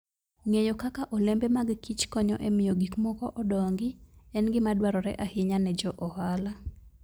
Ng'eyo kaka olembe mag kich konyo e miyo gik moko odongi en gima dwarore ahinya ne jo ohala.